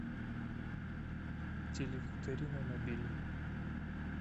телевикторина набери